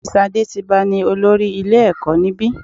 Mrs Adetiba ní olórí ilé ẹ̀kọ́ níbi.